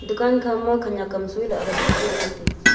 dukan khama khanyak am soi lala boh jao ngoi taga.